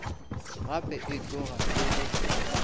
gape e tloga e le